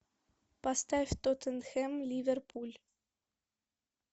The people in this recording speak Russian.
поставь тоттенхэм ливерпуль